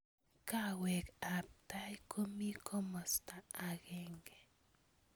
kawek ab tai komi kimosta akenge.